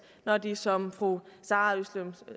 når de som fru